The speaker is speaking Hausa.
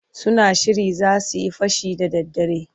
Suna shirin za su yi fashi da daddare.